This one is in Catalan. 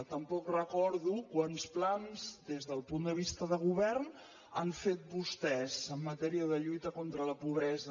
tampoc recordo quants plans des del punt de vista de govern han fet vostès en matèria de lluita contra la pobresa